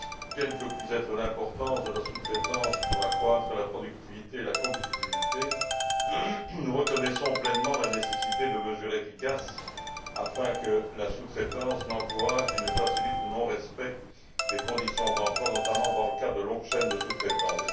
Quelle que puisse être l'importance de la sous traitance pour accroître la productivité et la compétitivité, nous reconnaissons pleinement la nécessité de mesures efficaces afin que la sous traitance n'encourage, ni ne facilite, le non respect des conditions d'emploi, notamment dans le cas de longues chaînes de sous traitance.